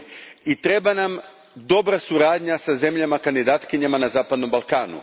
I treba nam dobra suradnja sa zemljama kandidatkinjama na Zapadnom Balkanu.